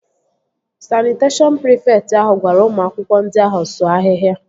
Sanịteshọn prịfekt ahụ gwara ụmụ akwụkwọ ndị ahụ sụọ ahịhịa